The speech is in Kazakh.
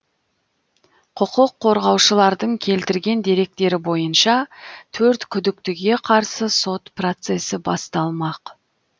құқық қорғаушылардың келтірген деректері бойынша төрт күдіктіге қарсы сот процесі басталмақ